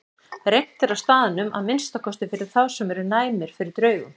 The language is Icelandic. Reimt er á staðnum, að minnsta kosti fyrir þá sem eru næmir fyrir draugum.